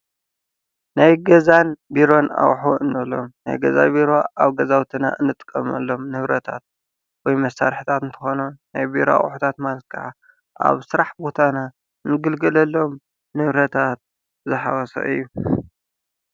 ናይ ገዛን ቢሮን ኣቑሑ እንብሎም ናይ ገዛ ቢሮ ኣብ ገዛዉትና እንጥቀመሎም ንብረታት ወይ መሳርሒታት እንትኾኑ ናይ ቢሮ ኣቑሑታት ማለት ከዓ ኣብ ስራሕ ቦታና እንግልገሎም ንብረታት ዝሓወሰ እዩ።